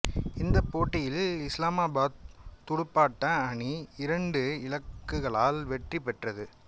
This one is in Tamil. இந்தப் போட்டியில் இஸ்லாமாபாத் துடுப்பாட்ட அணி இரண்டு இலக்குகளால் வெற்றி பெற்றது